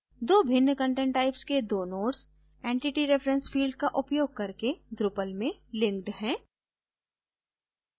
दो भिन्न content types के दो nodes entity reference field का उपयोग करके drupal में linked है